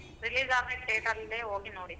Release ಆದ date ಅಲ್ಲೇ ಹೋಗಿ ನೋಡಿದ್ವಿ.